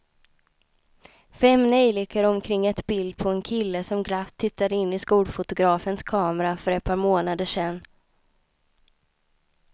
Fem neljikor omkring ett bild på en kille som glatt tittade in i skolfotografens kamera för ett par månader sedan.